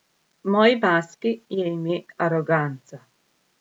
Moji maski je ime aroganca.